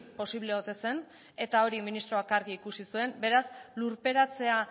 posible ote zen eta hori ministroak argi ikusi zuen beraz lurperatzea